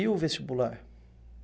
E o vestibular?